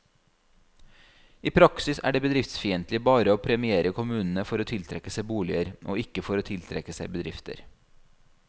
I praksis er det bedriftsfiendtlig bare å premiere kommunene for å tiltrekke seg boliger, og ikke for å tiltrekke seg bedrifter.